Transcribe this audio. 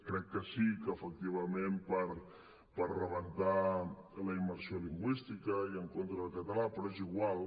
crec que sí que efectivament per rebentar la immersió lingüística i en contra del català però és igual